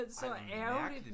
Ej hvor mærkeligt